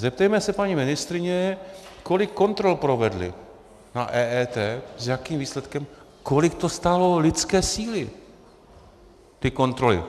Zeptejme se paní ministryně, kolik kontrol provedli na EET, s jakým výsledkem, kolik to stálo lidské síly, ty kontroly.